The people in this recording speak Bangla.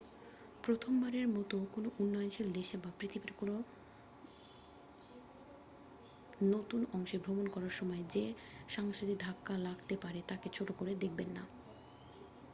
প্রথমবারের মত কোন উন্নয়নশীল দেশে বা পৃথিবীর নতুন কোন অংশে ভ্রমণ করার সময় যে সাংস্কৃতিক ধাক্কা লাগতে পারে তাকে ছোট করে দেখবেন না